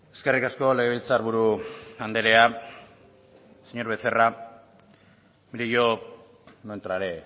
eskerrik asko legebiltzarburu andrea señor becerra mire yo no entraré